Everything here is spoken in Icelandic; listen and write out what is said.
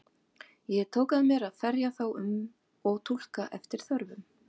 Ég tók að mér að ferja þá um og túlka eftir þörfum.